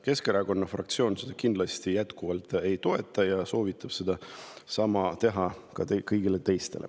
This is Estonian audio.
Keskerakonna fraktsioon seda kindlasti ei toeta ja soovitab sama teha ka kõigil teistel.